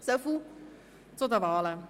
Soviel zu den Wahlen.